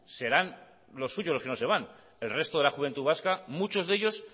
serán los suyos los que no se van el resto de la juventud vasca muchos de ellos